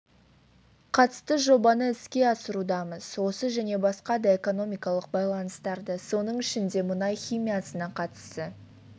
қатысты жобаны іске асырудамыз осы және басқа да экономикалық байланыстарды соның ішінде мұнай химиясына қатысты